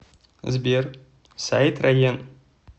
сбер сайт раен